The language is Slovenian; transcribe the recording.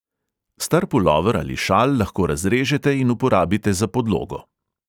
Star pulover ali šal lahko razrežete in uporabite za podlogo.